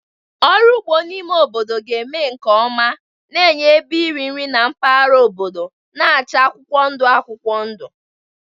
Ọrụ ugbo n'ime obodo ga-eme nke ọma, na-enye ebe nri nri na mpaghara obodo na-acha akwụkwọ ndụ akwụkwọ ndụ.